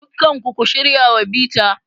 Dukkan ku, ku shirya wa bita.